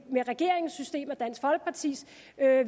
med regeringens system og dansk folkepartis